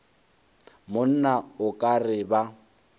monna o ka re ba